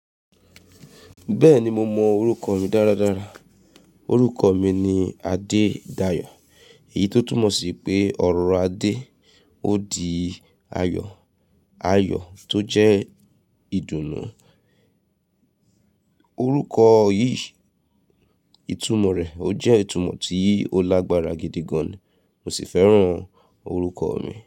Bẹ́ẹ̀ni mo mọ orúkọ mi dáradára. Orúkọ mi ni Adedayo. Èyí tó túmọ̀ sí pé ọ̀rọ̀ Adé ó di ayọ̀. Ayọ̀ tó jẹ́ ìdùnnú. Orúkọ yìí, ìtumọ̀ rẹ̀ ó jẹ́ ìtumọ̀ tí ó lágbára gidi gan-an, mo sì fẹ́ràn orúkọ mi.